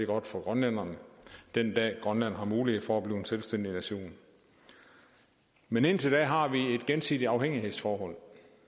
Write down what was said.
godt for grønlænderne den dag grønland har mulighed for at blive en selvstændig nation men indtil da har vi et gensidigt afhængighedsforhold